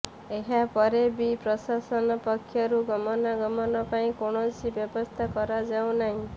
ଏହାପରେ ବି ପ୍ରଶାସନ ପକ୍ଷରୁ ଗମନାଗମନ ପାଇଁ କୌଣସି ବ୍ୟବସ୍ଥା କରାଯାଉନାହିଁ